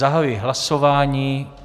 Zahajuji hlasování.